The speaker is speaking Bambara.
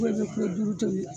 i bɛ kilo duuru tobi